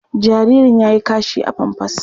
Jaririn ya yi kashi a famfas.